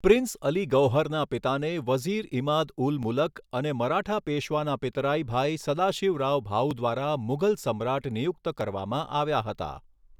Prince Ali ગૌહરના પિતાને વઝિર ઇમાદ ઉલ મુલક અને મરાઠા પેશવાના પિતરાઈ ભાઈ સદાશિવરાવ ભાઉ દ્વારા મુઘલ સમ્રાટ નિયુક્ત કરવામાં આવ્યા હતા.